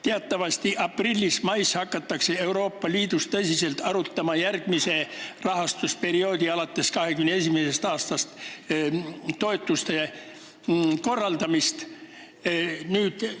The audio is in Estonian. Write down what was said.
Teatavasti hakatakse aprillis ja mais Euroopa Liidus tõsiselt arutama järgmise, alates 2021. aastast algava rahastusperioodi toetuste korraldamist.